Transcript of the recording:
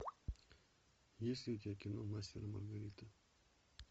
есть ли у тебя кино мастер и маргарита